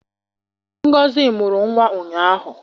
Ngozi mụrụ nwa ụnyahụ